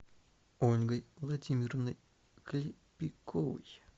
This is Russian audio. ольгой владимировной клепиковой